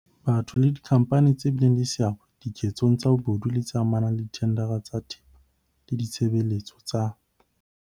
Batho le dikhampani tse bileng le seabo dike tsong tsa bobodu tse amanang le dithendara tsa thepa le ditshebele tso tsa